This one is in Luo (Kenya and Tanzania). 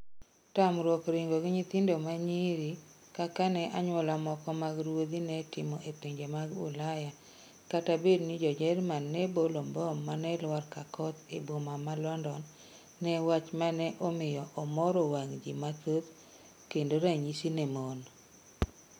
Tamruok ringo gi nyithindo ma nyiri kaka ne anyuola moko mag ruodhi ne timo e pinje mag Ulaya kata bedni jo Jerman ne bolo mbom mane lwar ka koth e boma ma London ne wach mane omiyo omoro wang ji mathoth kendo ranyisi ne mon